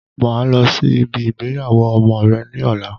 Máa lọ sí ibi ìgbéyàwó ọmọ rẹ ní ọ̀la